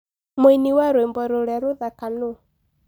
mũĩnĩ wa rwĩmbo rũrĩa urathaka nuu